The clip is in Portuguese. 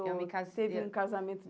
Ou teve um casamento